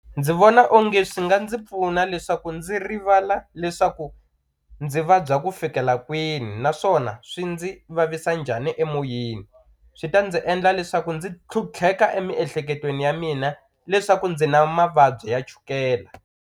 Ndzi vona onge swi nga ndzi pfuna leswaku ndzi rivala leswaku ndzi vabya ku fikela kwini naswona swi ndzi vavisa njhani emoyeni swi ta ndzi endla leswaku ndzi tlhutlheka emiehleketweni ya mina leswaku ndzi na mavabyi ya chukela.